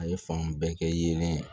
A ye fan bɛɛ kɛ yeelen